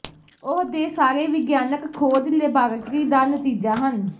ਉਹ ਦੇ ਸਾਰੇ ਵਿਗਿਆਨਕ ਖੋਜ ਲੈਬਾਰਟਰੀ ਦਾ ਨਤੀਜਾ ਹਨ